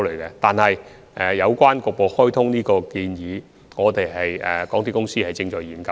然而，就沙中線局部開通的建議，港鐵公司現時正在研究中。